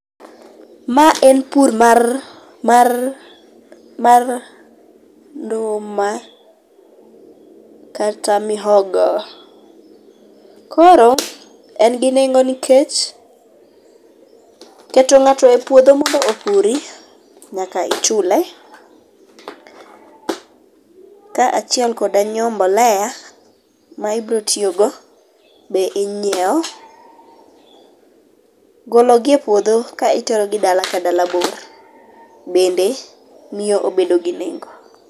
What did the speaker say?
Ma en pur mar mar mar nduma kata mihogo, koro en gi nengo nikech keto ng'ato e puodho mondo opurni, nyaka ichule. Ka chiel koda nyiewo mbolea ma ibro tiyogo be inyiewo, golo gi e puodho ka iterogi dala ka dala bor, bende miyo obedo gi nengo.